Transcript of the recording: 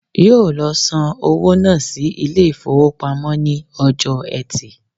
Yóò lo san owó náà sí Ilé ìfowópamọ́ ní ọjọ́ ẹtì